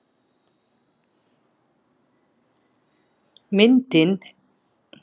Myndin er fengin á vefsetri Háskólans í Suður-Dakóta